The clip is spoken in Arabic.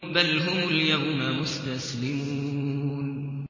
بَلْ هُمُ الْيَوْمَ مُسْتَسْلِمُونَ